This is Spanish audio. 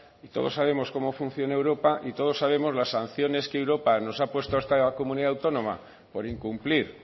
y todos sabemos cómo funciona europa y todos sabemos las sanciones que europa nos ha puesto a esta comunidad autónoma por incumplir